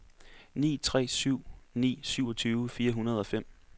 ni tre syv ni syvogtyve fire hundrede og fem